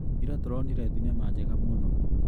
Ira tũronire thinema njega mũno.